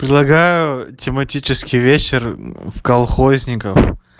предлагаю тематический вечер в колхозников